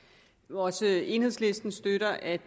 også enhedslisten støtter at